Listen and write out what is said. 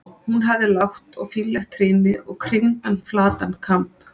Hún hafði lágt og fínlegt trýni og kringdan flatan kamb.